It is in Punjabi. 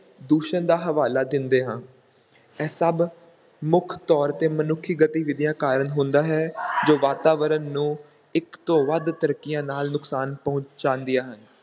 ਦੂਸ਼ਣ ਦਾ ਹਵਾਲਾ ਦਿੰਦੇ ਹਾਂ, ਇਹ ਸਭ ਮੁੱਖ ਤੌਰ ‘ਤੇ ਮਨੁੱਖੀ ਗਤੀਵਿਧੀਆਂ ਕਾਰਨ ਹੁੰਦਾ ਹੈ ਜੋ ਵਾਤਾਵਰਣ ਨੂੰ ਇੱਕ ਤੋਂ ਵੱਧ ਤਰੀਕਿਆਂ ਨਾਲ ਨੁਕਸਾਨ ਪਹੁੰਚਾਉਂਦੀਆਂ ਹਨ।